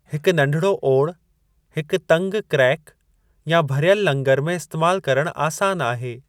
हिक नढिड़ो ओड़ हिकु तंगि क्रैक या भरियलु लंगरु में इस्तेमाल करणु आसान आहे।